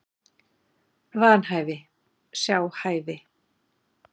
Vanhæfi, sjá hæfi